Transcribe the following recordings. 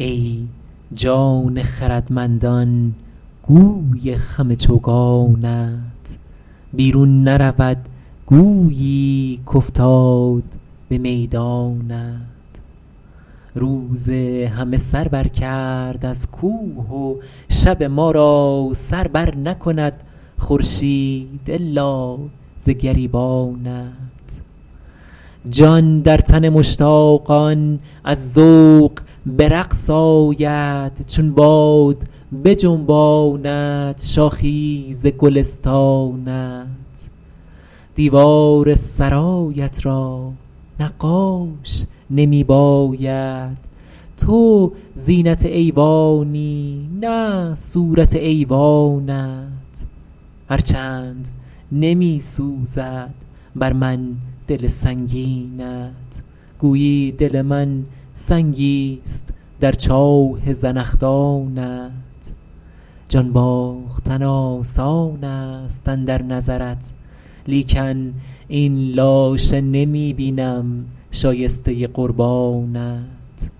ای جان خردمندان گوی خم چوگانت بیرون نرود گویی کافتاد به میدانت روز همه سر بر کرد از کوه و شب ما را سر بر نکند خورشید الا ز گریبانت جان در تن مشتاقان از ذوق به رقص آید چون باد بجنباند شاخی ز گلستانت دیوار سرایت را نقاش نمی باید تو زینت ایوانی نه صورت ایوانت هر چند نمی سوزد بر من دل سنگینت گویی دل من سنگیست در چاه زنخدانت جان باختن آسان است اندر نظرت لیکن این لاشه نمی بینم شایسته قربانت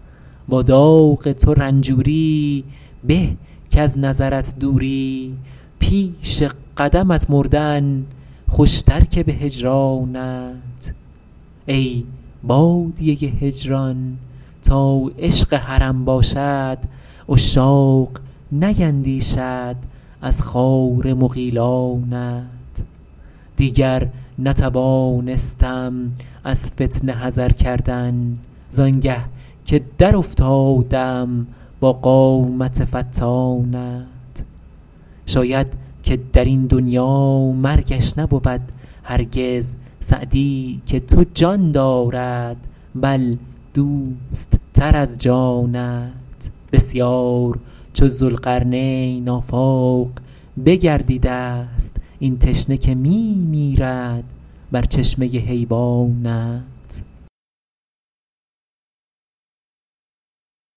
با داغ تو رنجوری به کز نظرت دوری پیش قدمت مردن خوشتر که به هجرانت ای بادیه هجران تا عشق حرم باشد عشاق نیندیشند از خار مغیلانت دیگر نتوانستم از فتنه حذر کردن زآنگه که در افتادم با قامت فتانت شاید که در این دنیا مرگش نبود هرگز سعدی که تو جان دارد بل دوست تر از جانت بسیار چو ذوالقرنین آفاق بگردیده ست این تشنه که می میرد بر چشمه حیوانت